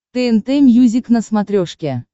тнт мьюзик на смотрешке